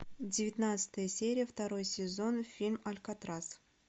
девятнадцатая серия второй сезон фильм алькатрас